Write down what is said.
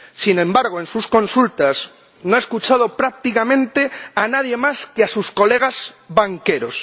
sin embargo, en sus consultas, no ha escuchado prácticamente a nadie más que a sus colegas banqueros.